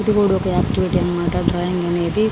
ఇది కూడా ఒక ఆక్టివేట్ అన్నమాట డ్రాయింగ్ అనేది.